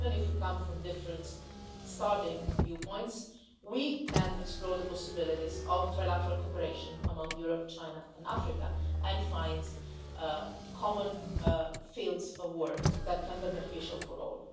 Even if we come from different starting points we can explore the possibilities for trilateral cooperation among Europe, China and Africa and find common fields of work that are beneficial for all.